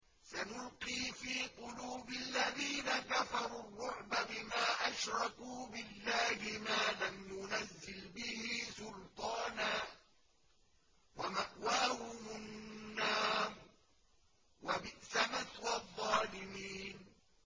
سَنُلْقِي فِي قُلُوبِ الَّذِينَ كَفَرُوا الرُّعْبَ بِمَا أَشْرَكُوا بِاللَّهِ مَا لَمْ يُنَزِّلْ بِهِ سُلْطَانًا ۖ وَمَأْوَاهُمُ النَّارُ ۚ وَبِئْسَ مَثْوَى الظَّالِمِينَ